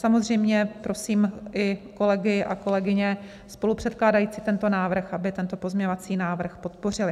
Samozřejmě prosím i kolegy a kolegyně spolupředkládající tento návrh, aby tento pozměňovací návrh podpořili.